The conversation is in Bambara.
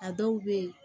A dɔw be yen